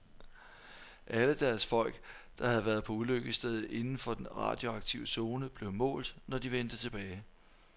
Alle deres folk, der havde været på ulykkesstedet inden for den radioaktive zone, blev målt, når de vendte tilbage.